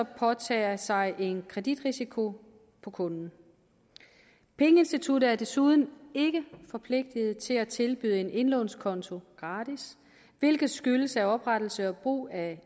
påtage sig en kreditrisiko på kunden pengeinstituttet er desuden ikke forpligtet til at tilbyde en indlånskonto gratis hvilket skyldes at oprettelse og brug af